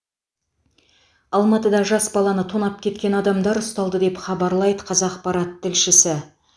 алматыда жас баланы тонап кеткен адамдар ұсталды деп хабарлайды қазақпарат тілшісі